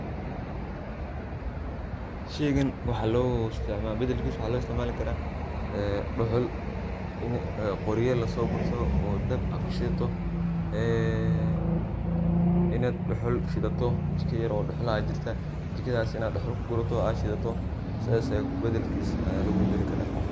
Shey gan badalkisa waxa lo istacmali kara een duxul ini qorya lasogursado, oo dab ad kushidhato ee inad duxul shidhato jika yar oo duxul ah aya jirta, jikadhas inad duxul kugurato ad shidhato, sidhas badalkisa lagu badalikara.